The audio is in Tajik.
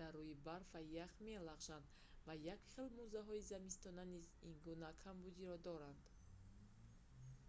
дар руи барф ва ях мелағжанд ва якхел мӯзаҳои зимистона низ ин гуна камбудиро доранд